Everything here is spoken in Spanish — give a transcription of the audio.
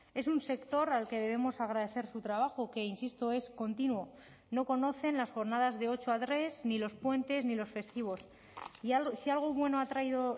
es un sector al que debemos agradecer su trabajo que insisto es continuo no conocen las jornadas de ocho a tres ni los puentes ni los festivos y si algo bueno ha traído